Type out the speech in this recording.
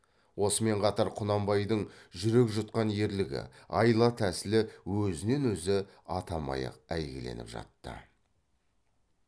осымен қатар құнанбайдың жүрек жұтқан ерлігі айла тәсілі өзінен өзі атамай ақ әйгіленіп жатты